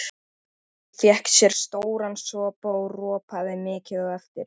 Apríl, slökktu á þessu eftir sjötíu mínútur.